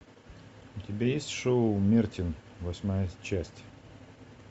у тебя есть шоу мертин восьмая часть